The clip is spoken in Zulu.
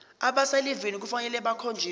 abaselivini kufanele bakhonjiswe